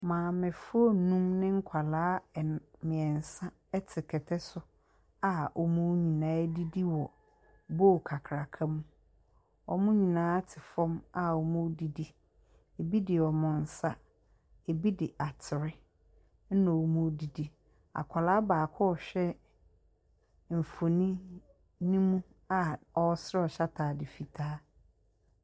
Maamefo nnum ne nkwadaa nn mmiɛnsa te kɛtɛ so a wɔn nyinaa redidi wɔ bowl kakraka mu. Wɔn nyina ate fam a wɔredidi. Bi de wɔn nsa, bi de atere na wɔredidi. Akwadaa baako ɛrehwɛ mfonin ne mu a ɔresere hyɛ ataade fitaa.